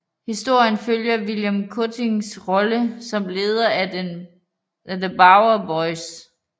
Historien følger William Cuttings rolle som leder af The Bowery Boys